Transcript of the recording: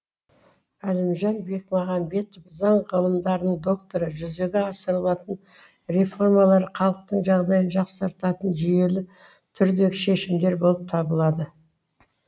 әлімжан бекмағамбетов заң ғылымдарының докторы жүзеге асырылатын реформалар халықтың жағдайын жақсартатын жүйелі түрдегі шешімдер болып табылады